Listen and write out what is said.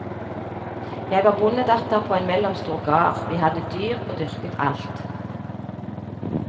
Jeg var bondedatter på en mellomstor gard, vi hadde dyr og dyrket alt.